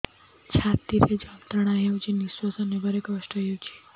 ଛାତି ରେ ଯନ୍ତ୍ରଣା ହେଉଛି ନିଶ୍ଵାସ ନେବାର କଷ୍ଟ ହେଉଛି